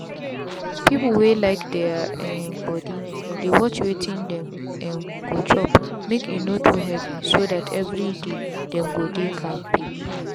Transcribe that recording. people wey like their um body dey watch wetin them um go chop make e no too heavy so that every day them go dey kampe.